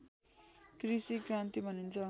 कृषि क्रान्ति भनिन्छ